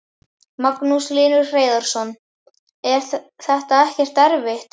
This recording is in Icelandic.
Magnús Hlynur Hreiðarsson: Er þetta ekkert erfitt?